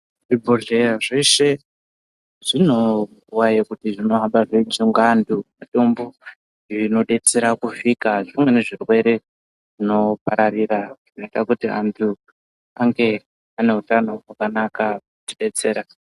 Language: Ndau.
Zvibhodhleya zveshe zvine nguwa yekuti zvinohamba zveipa anthu mutombo zvinodetsera kuvhika zvimweni irwere zvinopararira zvinoita kuti vanthu vange vane utano hwakanaka kutidetsera.